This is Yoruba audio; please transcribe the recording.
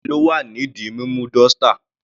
Adufe ló wà ní di mímú dọ́ṣtà..